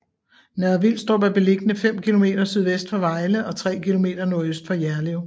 Nørre Vilstrup er beliggende fem kilometer sydvest for Vejle og tre kilometer nordøst for Jerlev